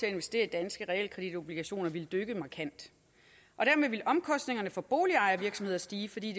at investere i danske realkreditobligationer ville dykke markant dermed ville omkostningerne for boligejere og virksomheder stige fordi